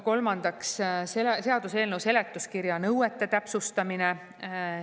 Kolmandaks, seaduseelnõu seletuskirja nõuete täpsustamine.